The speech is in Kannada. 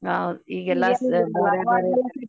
ಹೌದ್ .